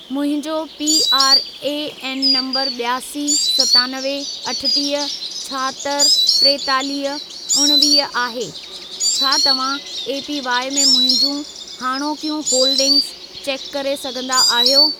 मुंहिंजो PRAN number ॿियासी, सतानवे, अठटीह, छाहतरि, टेतालीह, उणिवीह, आहे। छा तव्हां एपीवाई में मुंहिंजूं हाणोकियूं होल्डिंगस चेक करे सघंदा आहियो?